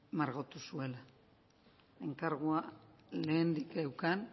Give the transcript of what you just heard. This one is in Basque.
margotu zuela enkargua lehendik eukan